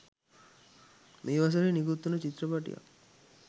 මේ වසරේ නිකුත් වුන චිත්‍රපටයක්